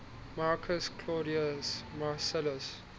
marcus claudius marcellus